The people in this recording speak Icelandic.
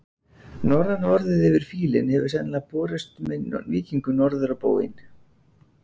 Norræna orðið yfir fílinn hefur sennilega borist með víkingum norður á bóginn.